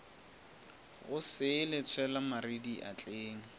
go sele tshwela mare diatleng